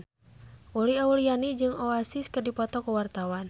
Uli Auliani jeung Oasis keur dipoto ku wartawan